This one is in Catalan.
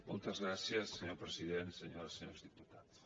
moltes gràcies senyor president senyores i senyors diputats